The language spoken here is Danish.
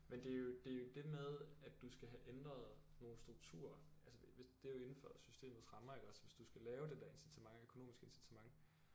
Men det er jo det er jo det med at du skal have ændret nogle strukturer altså hvis det er jo inden for systemets rammer iggås hvis du skal lave det der incitament økonomiske incitament